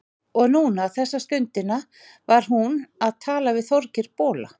Og núna, þessa stundina, var hún að tala við Þorgeir bola.